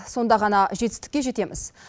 сонда ғана жетістікке жетеміз